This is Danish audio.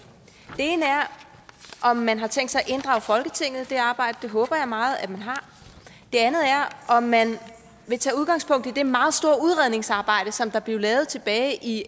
ene er om man har tænkt sig i det arbejde det håber jeg meget man har det andet er om man vil tage udgangspunkt i det meget store udredningsarbejde som der blev lavet tilbage i